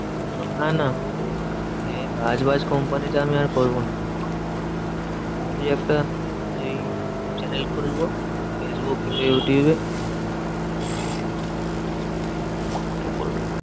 না না এ কাজ বাজ company তে আমি আর করবো না। ভাবছি একটা ওই channel খুলবো ফেসবুক ইউটিউবে ওখানে করবো।